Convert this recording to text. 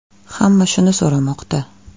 Hamma shuni so‘ramoqda.